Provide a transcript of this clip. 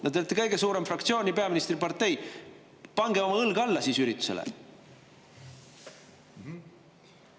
No teil on kõige suurem fraktsioon ja teie erakond on peaministripartei – pange siis oma õlg üritusele alla!